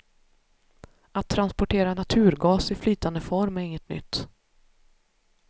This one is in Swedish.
Att transportera naturgas i flytande form är inget nytt.